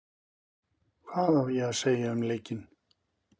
Hvað ég á að segja um leikinn?